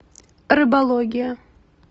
рыбология